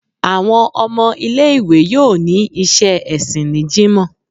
Awọn ọmọ ile-iwe yóò ní iṣẹ ẹsìn ni jímo